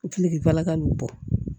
Kile falaka n'o bɔ